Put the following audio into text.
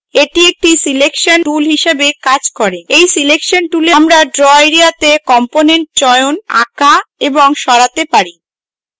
এটি acts selection tool হিসাবে কাজ করে এই selection tool আমরা draw এরিয়াতে components চয়ন আঁকা এবং সরাতে পারি